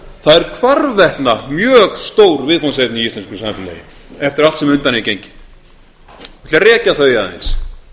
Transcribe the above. það eru hvarvetna mjög stór viðfangsefni í íslensku samfélagi eftir allt sem á undan hefur gengið ég ætla að rekja þau aðeins